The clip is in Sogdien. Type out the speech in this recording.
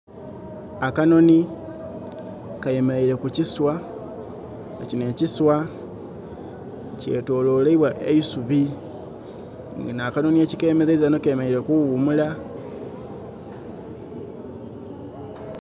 Akanhonhi kemeleire ku kiswa. Kino ekiswa kyetoloirebwa eisubi. Nga akanhonhi ekikemeleiza ghano, kemeleire kuwumula